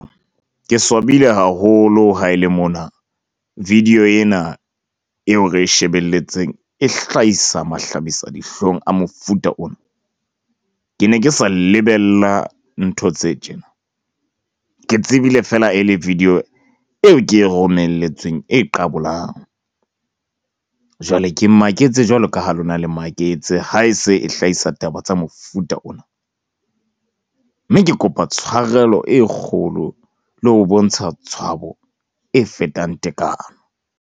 Ke swabile haholo ha e le mona video ena eo re e shebelletseng e hlahisa mahlabisadihlong a mofuta ona. Ke ne ke sa lebella ntho tse tjena. Ke tsebile fela e le video eo ke e romelletsweng e qabolang, jwale, ke maketse jwalo ka ho lona, le maketse ha e se e hlahisa taba tsa mofuta ona. Mme ke kopa tshwarelo e kgolo le ho bontsha tshwabo e fetang tekanyo.